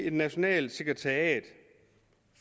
et nationalt sekretariat